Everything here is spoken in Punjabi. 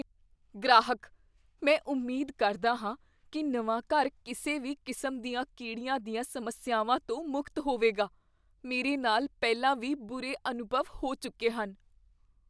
ਗ੍ਰਾਹਕ, "ਮੈਂ ਉਮੀਦ ਕਰਦਾ ਹਾਂ ਕੀ ਨਵਾਂ ਘਰ ਕਿਸੇ ਵੀ ਕਿਸਮ ਦੀਆਂ ਕੀੜੀਆਂ ਦੀਆਂ ਸਮੱਸਿਆਵਾਂ ਤੋਂ ਮੁਕਤ ਹੋਵੇਗਾ, ਮੇਰੇ ਨਾਲ ਪਹਿਲਾਂ ਵੀ ਬੁਰੇ ਅਨੁਭਵ ਹੋ ਚੁੱਕੇ ਹਨ"